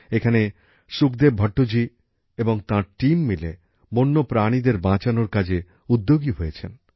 এখানে সুখদেব ভট্টজি এবং তাঁর দলের সদস্যরা মিলে বন্যপ্রাণীদের বাঁচানোর কাজে উদ্যোগী হয়েছেন